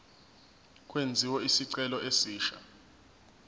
kwenziwe isicelo esisha